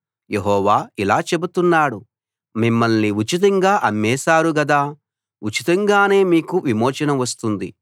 యెహోవా ఇలా చెబుతున్నాడు మిమ్మల్ని ఉచితంగా అమ్మేశారు గదా ఉచితంగానే మీకు విమోచన వస్తుంది